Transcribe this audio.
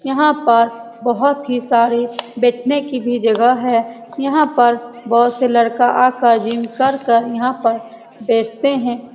यहाँ पर बहुत ही सारे बैठने की भी जगह है यहाँ पर बहुत से लड़का आकर जिम कर कर यहाँ पर बैठते हैं ।